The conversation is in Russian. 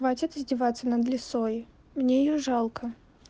хватит издеваться над лисой мне её жалко